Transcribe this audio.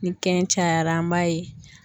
Ni kɛn cayara an b'a ye.